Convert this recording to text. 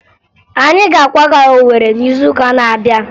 Anyị ga-akwaga Owere n'izuụka na-abịa